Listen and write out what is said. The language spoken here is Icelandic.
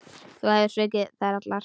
Þú hefur svikið þær allar.